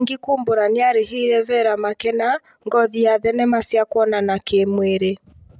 Mwangi kumbũra nĩarĩhire Vera Makena ngothi ya thenema cia kuonana kĩmwĩrĩ